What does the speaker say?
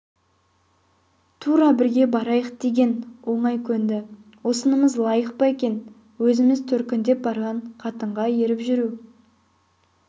тура бірге барайық деген оңай көнді осынымыз лайық па екен өзі төркіндеп барған қатынға еріп жүру